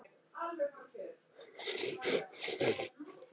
Ég var lík föður mínum og tilbað hann.